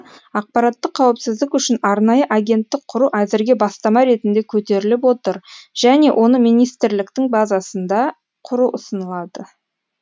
ақпараттық қауіпсіздік үшін арнайы агенттік құру әзірге бастама ретінде көтеріліп отыр және оны министрліктің базасында құру ұсынылады